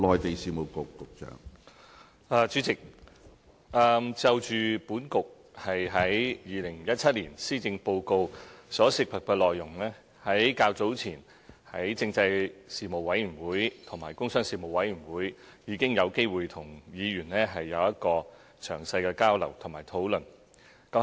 主席，就政制及內地事務局在2017年施政報告所涉及的內容，較早前在立法會政制事務委員會及工商事務委員會已經有機會跟議員有詳細的交流和討論。